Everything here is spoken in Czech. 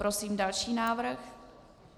Prosím další návrh